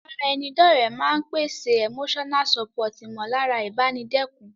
Ìbára ẹni dọ́ọ̀rẹ́ máa n pèsè Emotional support ìmọ̀lára ìbánikẹ́dùn